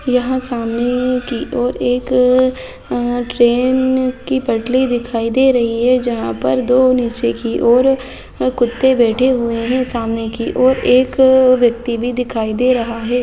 यहाँ सामने की और एक अ ट्रेन की पटरी दिखाई दे रही हैं जहाँ पर दो नीचे की और कुत्ते बैठे हुए हैं सामने की और एक व्यक्ति भी दिखाई दे रहा हैं।